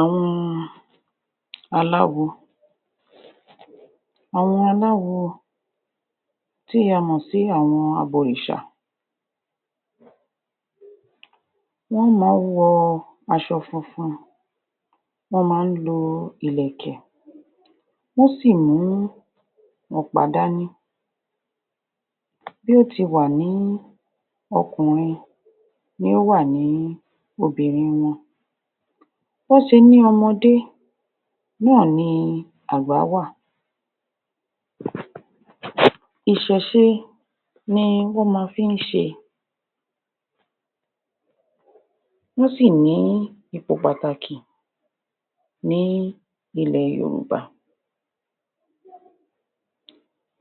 Àwọn aláwo àwọn aláwo tí a mọ̀ sí abọ̀rìṣà wọ́n má ń wọ aṣọ funfun wọ́n má ń lo ilẹ̀kẹ̀ wọ́n sì mú ọ̀pá dání bí ó ti wà ní okùnrin ní ó wà ní obìnrin wọn bí wọ́n ṣe ní ọmọdé náà ni àgbà wa Ìṣẹ̀ṣe ni wọ́n ma fí ń ṣe wọ́n sì ní ipò pàtàkì ní ilẹ̀ Yorùbá.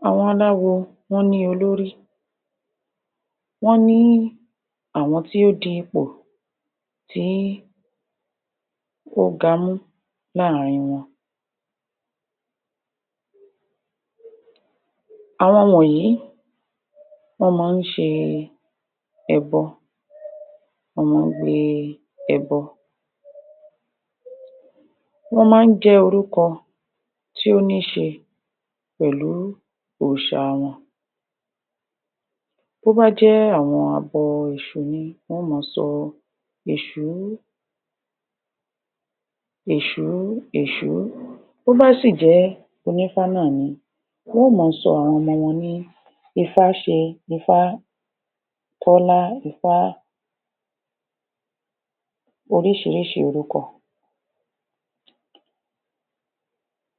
Àwọn aláwo, wọ́n ní olórí wọ́n ní àwọn tí ó di ipò tí ó gamú láàárín wọn. Àwọn wọnyìí wọ́n má ń ṣe e ẹbọ wọ́n má ń gbé é ẹbọ wọ́n má ń jẹ́ orúkọ tí ó ní ṣe pẹ̀lú òòṣa wọn. Tó bá jẹ́ àwọn abọ Èṣù ni, wọ́n á ma sọ Èṣù ú Èṣù ú, Èṣù ú tó bá sì jẹ́ onífá náà ni wọ́n ó ma sọ àwọn ọmọ wọn ní Ifá ṣe, Ifá Tọ́lá, Ifá oríṣiríṣi orúkọ.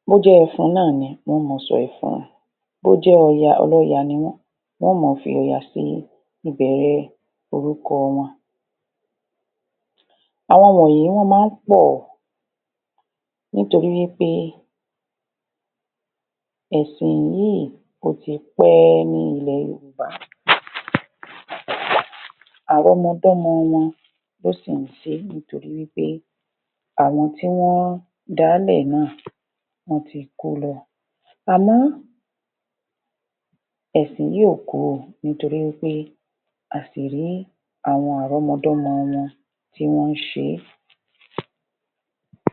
Bó jẹ́ Ẹfun náà ni, wọ́n ò ma sọ Ẹfun. Bó jẹ́ Ọya, Ọlọ́ya ni wọ́n. Wọ́n ò ma fi Ọya sí ìbẹ̀ẹ̀rẹ̀ orúkọ wọn. Àwọn wọnyìí, wọ́n má ń pọ̀ nítorí wí pé ẹ̀sìn yìí ó ti pẹ́ ẹ́ ní ilẹ̀ Yorùbá. Àrọ́mọdọ́mọ wọn ló sì ń ṣé nítorí wí pé àwọn tí wọ́n da á lẹ̀ náà wọ́n ti kú lọ. Àmọ́ ẹ̀sìn yìí ò kú o, nítorí wí pé aṣìì rí àwọn àrọ́mọdọ́mọ wọn tí wọ́n ń ṣe é